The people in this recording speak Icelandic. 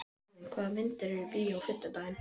Elvin, hvaða myndir eru í bíó á fimmtudaginn?